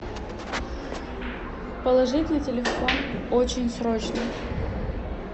положить на телефон очень срочно